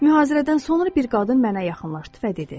Mühazirədən sonra bir qadın mənə yaxınlaşdı və dedi: